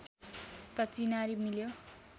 त चिनारी मिल्यो